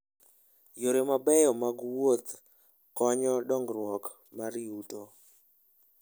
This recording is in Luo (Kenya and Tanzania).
Yore mabeyo mag wuoth konyo dongruok mar yuto.